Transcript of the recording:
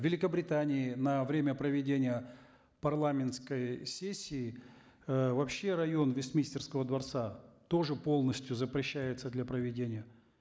в великобритании на время проведения парламентской сессии э вообще район вестминстерского дворца тоже полностью запрещается для проведения